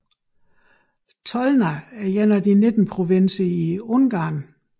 Tolna er en af de 19 provinser i Ungarn